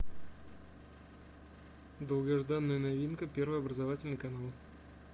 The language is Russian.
долгожданная новинка первый образовательный канал